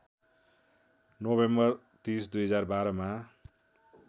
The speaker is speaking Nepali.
नोभेम्बर ३० २०१२ मा